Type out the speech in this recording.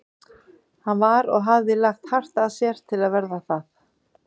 Hann var- og hafði lagt hart að sér til að verða það